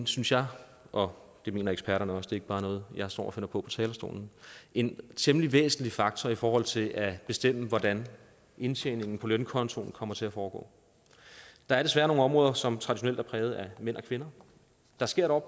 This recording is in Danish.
synes jeg og det mener eksperterne også det er ikke bare noget jeg står og finder på talerstolen en temmelig væsentlig faktor i forhold til at bestemme hvordan indtjeningen på lønkontoen kommer til at foregå der er desværre nogle områder som traditionelt er præget af mænd og kvinder der sker dog